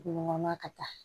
Dugu ɲɔgɔnna ka taa